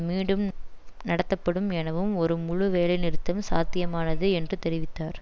மீண்டும் நடத்து படும் எனவும் ஒரு முழுவேலைநிறுத்தம் சாத்தியமானது என்று தெரிவித்தார்